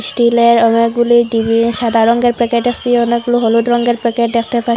স্টিলের অনেকগুলি ডিব্বি সাদা রঙ্গের প্যাকেট আসি অনেকগুলো হলুদ রঙ্গের প্যাকেট দেখতে পাই।